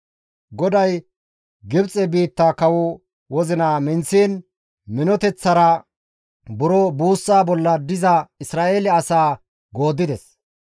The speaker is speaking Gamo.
GODAY Gibxe biitta kawo wozina minththiin minoteththara buro buussa bolla diza Isra7eele asaa gooddides.